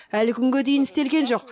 әлі күнге дейін істелген жоқ